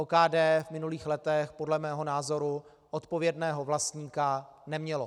OKD v minulých letech podle mého názoru odpovědného vlastníka nemělo.